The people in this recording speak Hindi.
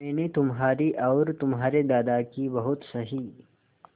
मैंने तुम्हारी और तुम्हारे दादाजी की बहुत सही